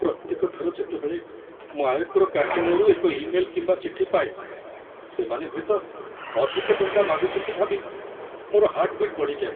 ପ୍ରତ୍ୟେକ ଥର ଯେତେବେଳେ ମୁଁ ଆୟକର କାର୍ଯ୍ୟାଳୟରୁ ଏକ ଇମେଲ କିମ୍ବା ଚିଠି ପାଏ, ସେମାନେ ହୁଏତ ଅଧିକ ଟଙ୍କା ମାଗୁଛନ୍ତି ଭାବି ମୋର ହାର୍ଟ ବିଟ୍ ବଢ଼ିଯାଏ।